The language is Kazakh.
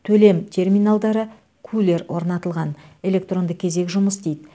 төлем терминалдары кулер орнатылған электронды кезек жұмыс істейді